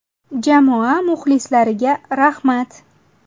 Jamoa muxlislariga rahmat.